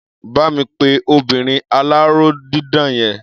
Bá mi pe obinrin aláró dídà yẹn.